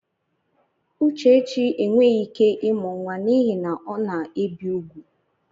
Uchechi enweghị ike ịmụ nwa n'ihi na ọ na-ebi úgwù.